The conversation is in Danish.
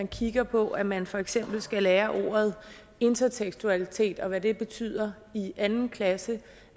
kigger på at man for eksempel skal lære ordet intertekstualitet og hvad det betyder i anden klasse